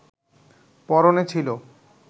পরনে ছিল